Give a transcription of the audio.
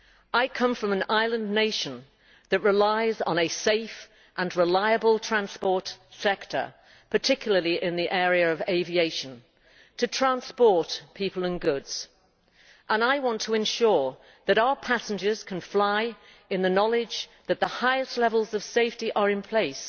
I come from an island nation that relies on a safe and reliable transport sector, particularly in the area of aviation, to transport people and goods, and I want to ensure that our passengers can fly in the knowledge that the highest levels of safety are in place